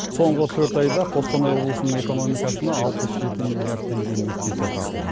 соңғы төрт айда қостанай облысының экономикасына алпыс жеті миллиард теңге инвестиция тартылған